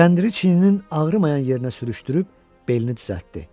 Kəndiri çiyninin ağrımayan yerinə sürüşdürüb belini düzəltdi.